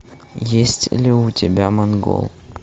есть ли у тебя монгол